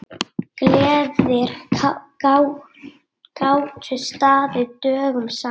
Gleðir gátu staðið dögum saman.